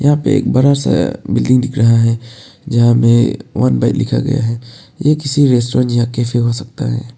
यहां पे एक बड़ा सा बिल्डिंग दिख रहा है जहां में वन बाइट लिखा गया है ये किसी रेस्टोरेंट या कैफे हो सकता है।